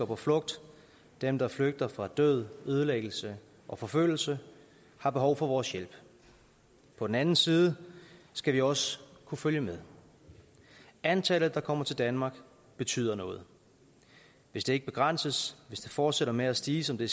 på flugt dem der flygter fra død ødelæggelse og forfølgelse har behov for vores hjælp på den anden side skal vi også kunne følge med antallet der kommer til danmark betyder noget hvis det ikke begrænses hvis det fortsætter med at stige som det